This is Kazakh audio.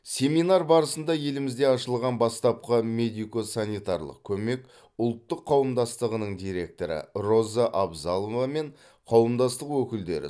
семинар барысында елімізде ашылған бастапқы медико санитарлық көмек ұлттық қауымдастығының директоры роза абзалова мен қауымдастық өкілдері